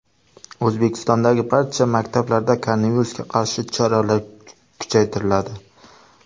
O‘zbekistondagi barcha maktablarda koronavirusga qarshi choralar kuchaytiriladi.